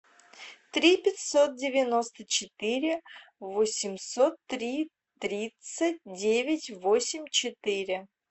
три пятьсот девяносто четыре восемьсот три тридцать девять восемь четыре